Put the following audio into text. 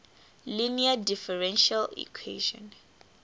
linear differential equation